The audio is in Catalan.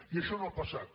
i això no ha passat